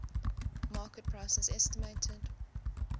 market prices estimated